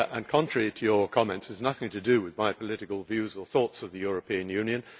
Contrary to your comments, it has nothing to do with my political views or thoughts of the European Union.